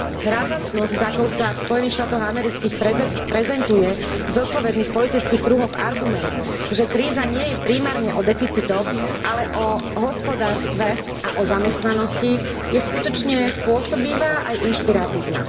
Razantnosť s akou sa v Spojených štátoch amerických prezentuje v zodpovedných politických kruhoch argument, že kríza nie je primárne o deficitoch, ale o hospodárstve a o zamestnanosti je skutočne pôsobivá aj inšpiratívna.